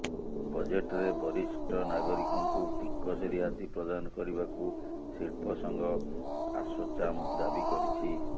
ବଜେଟ୍ରେ ବରିଷ୍ଠ ନାଗରିକଙ୍କୁ ଟିକସ ରିହାତି ପ୍ରଦାନ କରିବାକୁ ଶିଳ୍ପ ସଂଘ ଆସୋଚାମ ଦାବି କରିଛି